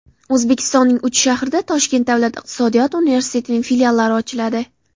O‘zbekistonning uch shahrida Toshkent davlat iqtisodiyot universitetining filiallari ochiladi.